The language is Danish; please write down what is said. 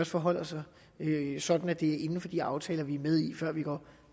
forholder sig sådan at det er inden for de aftaler vi er med i før vi går